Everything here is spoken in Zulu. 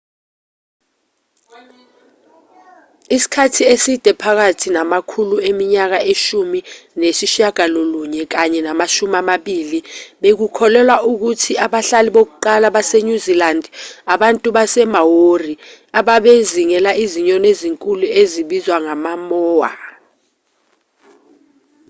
isikhathi eside phakathi namakhulu eminyaka eshumi nesishiyagalolunye kanye namashumi amabili bekukholelwa ukuthi abahlali bokuqala basenyuzilandi abantu basemaori ababezingela izinyoni ezinkulu ezibizwa ngama-moa